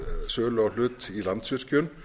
sölu á hlut í landsvirkjun